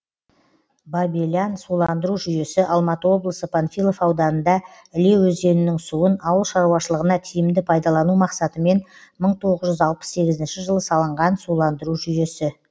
бабелян суландыру жүйесі алматы облысы панфилов ауданында іле өзенінің суын ауыл шаруашылығына тиімді пайдалану мақсатымен мың тоғыз жүз алпыс сегізінші жылы салынған суландыру жүйесі